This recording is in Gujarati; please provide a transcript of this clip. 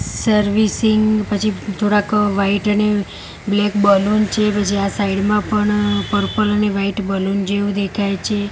સર્વિસિંગ પછી થોડાક વ્હાઇટ અને બ્લેક બલૂન છે પછી આ સાઇડ મા પણ પર્પલ અને વ્હાઇટ બલૂન જેવુ દેખાય છે.